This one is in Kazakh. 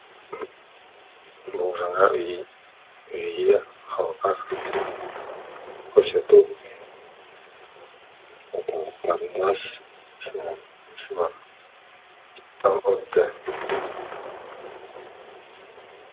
бұл жаңа жүйе халыққа қызмет көрсету орталықтарында сынақтан өтті